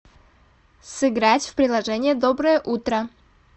сыграть в приложение доброе утро